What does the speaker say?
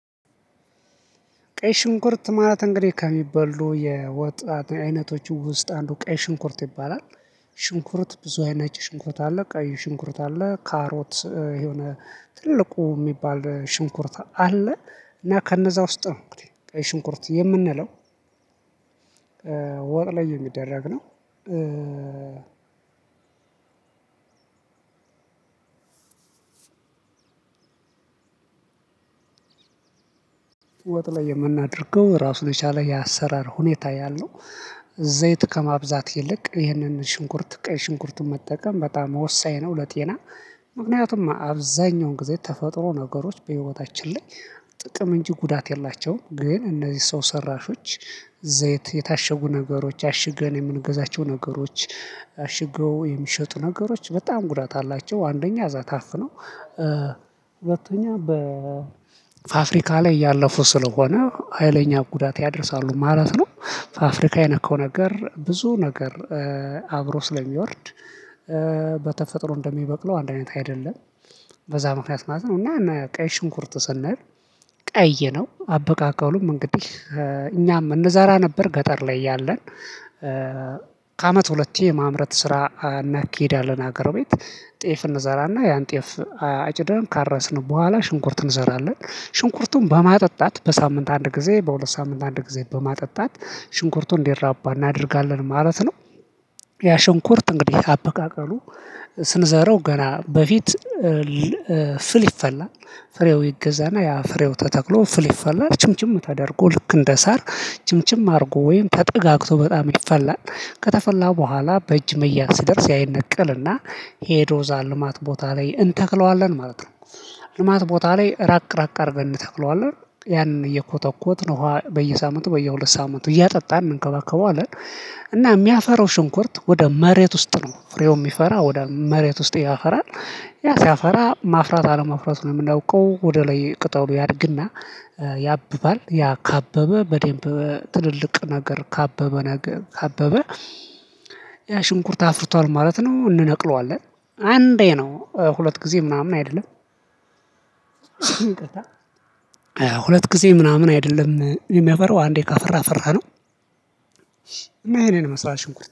ቀይ ሽንኩርት ማለት እንግዲህ ከሚበሉ የወጥ አይነቶች ውስጥ አንዱ ቀይ ሽንኩርት ይባላል። ሽንኩርት ብዙ አይነት ነጭ ሽንኩርት አለ ቀይ ሽንኩርት አለ ካሮት የሆነ ትልቁ የሚባል ሽንኩርት አለ። እና ከነዛ ውስጥ ነው እንግዲህ ቀይ ሽንኩርት የምንለው ወጥ ላይ የሚደረግ ነው። ወጥ ላይ የምናደርገው ራሱን የቻለ የአሰራር ሁኔታ ያለው። ዘይት ከማብዛት ይልቅ ይህንን ሽንኩርት ቀይ ሽንኩርቱን መጠቀም በጣም ወሳኝ ነው ለጤና። ምክንያቱም አብዛኛውን ጊዜ ተፈጥሮ ነገሮች በህይወታችን ላይ ጥቅም እንጂ ጉዳት የላቸውም። ግን እነዚህ ሰው ሰራሽ ዘይት የታሸጉ ነገሮች አሽገን የምንገዛቸው ነገሮች። አሽገው የሚሸጡ ነገሮች በጣም ጉዳት አላቸው አንደኛ እዛ ታፍነው። ሁለተኛ በፋፍሪካ ላይ ያለፉ ስለሆነ ሀይለኛ ጉዳት ያደርሳሉ ማለት ነው። ፋፍሪካ የነካው ነገር ብዙ ነገር አብሮ ስለሚወርድ። በተፈጥሮ እንደሚበቅለው አንድ አይነት አይደለም። በዛ ምክንያት ማለት ነው እና ቀይ ሽንኩርት ስንል። ቀይ ነው አበቃቃሉም እንግዲህ እኛም እነዛራ ነበር ገጠር ላይ ያለን። ከአመት ሁለቴ የማምረት ስራ እናካሂዳለን ሀገር ቤት ጤፍ እንዘራና ያን ጤፍ አጭደን ካረስን በኋላ ሽንኩርት እንዘራለን ሽንኩርቱን በማጠጣት በሳምንት አንድ ጊዜ በሁለት ሳምንት አንድ ጊዜ በማጠጣት ሽንኩርቱን እንዲራባ እናደርጋለን ማለት ነው። ያ ሽንኩርት እንግዲህ አበቃቀሉ። ስንዘረው ገና በፊት ፍል ይፈላል ፍሬው ይገዛና ያ ፍሬው ተተክሎ ፍል ይፈላል ችምችም ተደርጎ ልክ እንደ ሳር ችምችም አድርጎ ወይም ተጠጋግቶ በጣም ይፈላል ከተፈላ በኋላ በእጅ መያዝ ሲደርስ ያ ይነቀልና ሄዶ ዛልማት ልማት ቦታ ላይ እንተክለዋለን ማለት ነው። ልማት ቦታ ላይ ራቅ ራቅ አድርገን እንተክለዋለን ያንን እየኮተኮትን በየሳምንቱ በየሁለት ሳምንቱ እያጠጣን እንከባከበዋለን። እና የሚያፈራው ሽንኩርት ወደ መሬት ውስጥ ነው ፍሬው የሚፈራ ወደ መሬት ውስጥ ያፈራል። ያ ሲያፈራ ማፍራት አለመፍራቱን የምናውቀው ወደ ላይ ቅጠሉ ያድግና። ያብባል ያ ካበበ በዴምብ ትልልቅ ነገር ካበበ ነገር ካበበ ያ ሽንኩርት አፍርቷል ማለት ነው። እንነቅለዋለን አንዴ ነው ሁለት ጊዜ ምናምን አይደለም። ሁለት ጊዜ ምናምን አይደለም የሚያፈራው አንዴ ካፈራ አፈራነው። እና ይሄንን ይመስላል ሽንኩርት